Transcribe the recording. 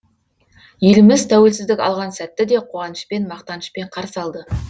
еліміз тәуелсіздік алған сәтті де қуанышпен мақтанышпен қарсы алды